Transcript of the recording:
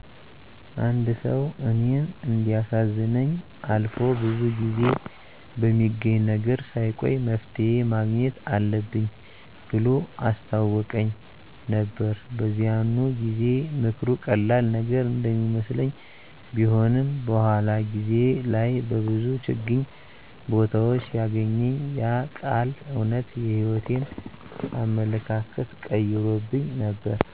አንድ ሰው እኔን እንዲያሳዝነኝ አልፎ ብዙ ጊዜ በሚገኝ ነገር ሳይቆይ መፍትሄ ማግኘት አለብኝ ብሎ አስታወቀኝ ነበር። በዚያኑ ጊዜ ምክሩ ቀላል ነገር እንደሚመስለኝ ቢሆንም፣ በኋላ ጊዜ ላይ በብዙ ችግኝ ቦታዎች ሲያገኘኝ ያ ቃል እውነት የሕይወቴን አመለካከት ቀይሮብኝ ነበር።